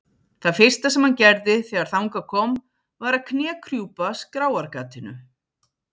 Það fyrsta sem hann gerði þegar þangað kom var að knékrjúpa skráargatinu.